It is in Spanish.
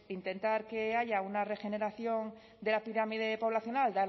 intentar que haya una regeneración de la pirámide poblacional